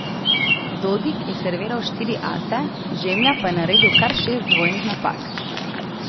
Dodig je serviral štiri ase, Žemlja pa je naredil kar šest dvojnih napak.